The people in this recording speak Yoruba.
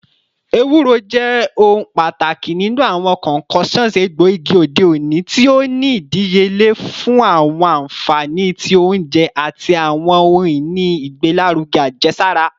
Ewuro, jẹ ohun pataki ninu awọn concoctions egboigi ode oni, ti o ni idiyele fun awọn anfani ti ounjẹ ati awọn ohun-ini igbelaruge ajesara